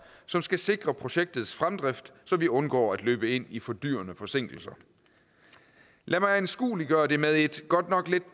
som skal sikre projektets fremdrift så vi undgår at løbe ind i fordyrende forsinkelser lad mig anskueliggøre det med et godt nok lidt